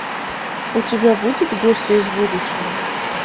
у тебя будет гости из будущего